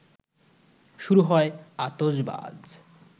শুরু হয় আতশবাজ